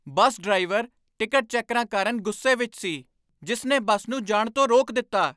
ਬੱਸ driver ticket ਚੈਕਰਾਂ ਕਾਰਨ ਗੁੱਸੇ ਵਿੱਚ ਸੀ, ਜਿਸ ਨੇ ਬੱਸ ਨੂੰ ਜਾਣ ਤੋਂ ਰੋਕ ਦਿੱਤਾ।